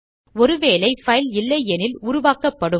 ஒரு வேளை பைல் இல்லையெனில் உருவாக்கப்படும்